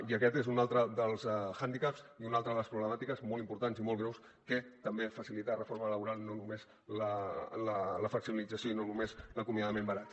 i aquest és un altre dels hàndicaps i una altra de les problemàtiques molt importants i molt greus que també facilita la reforma laboral no només la flexibilització i no només l’acomiadament barat